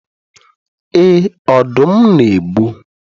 Ee, Ọdụm na-egbu